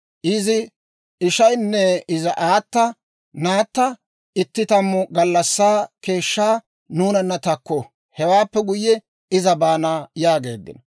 Izi ishaynne izi aata, «Naatta itti tammu gallassaa keeshshaa nuunana takku; hewaappe guyye iza baana» yaageeddino.